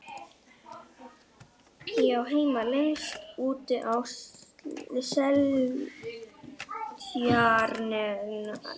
Ég á heima lengst úti á Seltjarnarnesi.